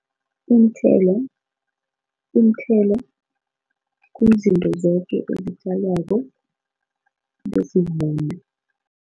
Iinthelo iinthelo kuzinto zoke ezitjalwako bezivunwe.